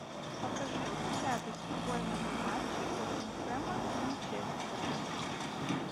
покажи мне запись футбольного матча тоттенхэма с манчестером